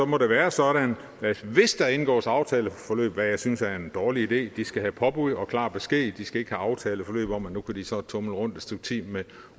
må det være sådan at hvis der indgås aftaleforløb hvad jeg synes er en dårlig idé de skal have påbud og klar besked de skal ikke have aftaleforløb om at nu kan de så tumle rundt et stykke tid med